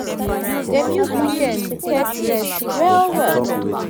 dem use weekend take rest well-well